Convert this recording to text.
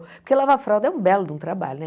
Porque lavar fralda é um belo de um trabalho, né?